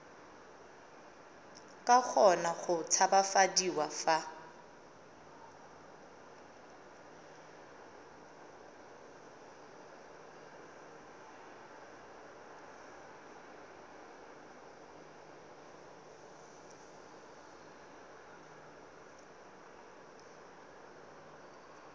ka kgona go tshabafadiwa fa